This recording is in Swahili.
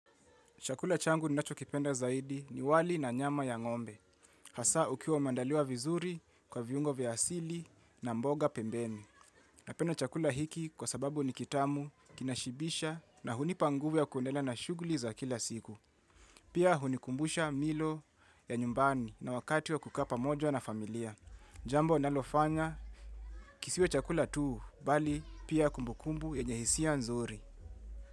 Chakula changu ni nacho kipenda zaidi ni wali na nyama ya ngombe. Hasa ukiwa umeandaliwa vizuri kwa viungo vya asili na mboga pembeni. Napenda chakula hiki kwa sababu ni kitamu, kinashibisha na hunipa nguvu ya kuendelea na shughuli za kila siku. Pia hunikumbusha milo ya nyumbani na wakati wa kukaa pamoja na familia. Jambo nalofanya kisiwe chakula tuu, bali pia kumbukumbu yenye hisia nzuri.